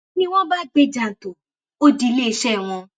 ni wọn bá gbé e jàǹtò ó di iléeṣẹ wọn